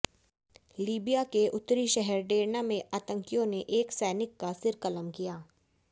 Libya के उत्तरी शहर डेर्ना में आतंकियों ने एक सैनिक का सिर कलम किया